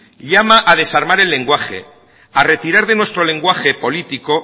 llama a desarmar el lenguaje a retirar de nuestro lenguaje político